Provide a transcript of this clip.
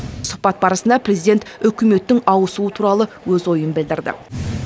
сұхбат барысында президент үкіметтің ауысуы туралы өз ойын білдірді